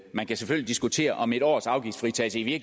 man kan selvfølgelig diskutere om en års afgiftsfritagelse i